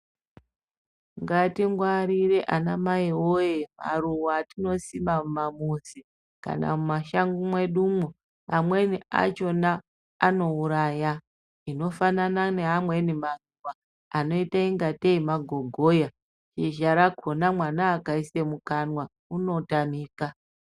Ngatingwarire anamai woye maruwa atinosima mumamuzi kana mumashango mwedumwo, amweni achona anouraya inofanana neamweni maruwa anoite ngatei magogoya shizha rakona mwana akaise mukanwa unotamika.